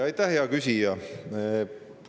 Aitäh, hea küsija!